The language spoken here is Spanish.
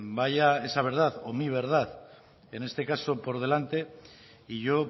vaya esa verdad o mi verdad en este caso por delante y yo